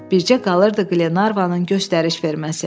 Bircə qalırdı Qlenarvanın göstəriş verməsi.